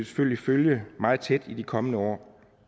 selvfølgelig følge meget tæt i de kommende år